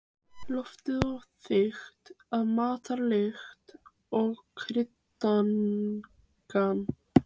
Loftið var þykkt af matarlykt og kryddangan.